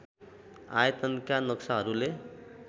आयतनका नक्साहरूले